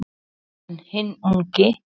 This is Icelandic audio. En hinn ungi